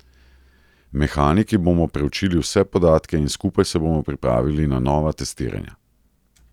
Mehaniki bomo preučili vse podatke in skupaj se bomo pripravili na nova testiranja.